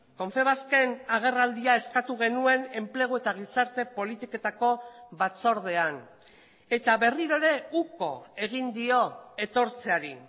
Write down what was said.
confebasken agerraldia eskatu genuen enplegu eta gizarte politiketako batzordean eta berriro ere uko egin dio etortzeari